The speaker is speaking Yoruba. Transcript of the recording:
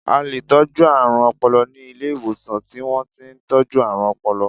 A leè tọ̀jú àrùn ọpọlọ ni Ilé ìwòsàn ti wọ́n ti n tọ́jú àrùn ọpọlọ